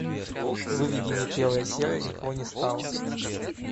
выведи мне первая серия никого не стало